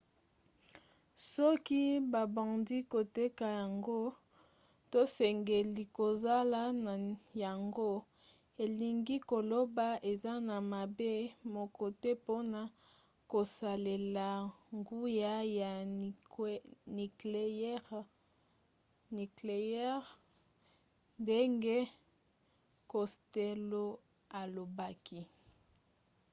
soki babandi koteka yango tosengeli kozala na yango. elingi koloba eza na mabe moko te mpona kosalela nguya ya nikleyere ndenge costello alobaki